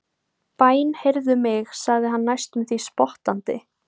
Bænheyrðu mig, sagði hann næstum því spottandi.